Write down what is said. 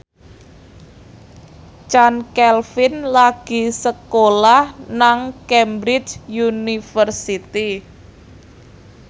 Chand Kelvin lagi sekolah nang Cambridge University